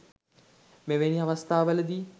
මෙවැනි අවස්ථා වලදී